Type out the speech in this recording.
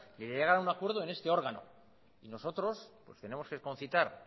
y llegar a un acuerdo en este órgano y nosotros pues tenemos que concitar